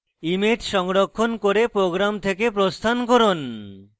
image সংরক্ষণ করে program থেকে প্রস্থান করুন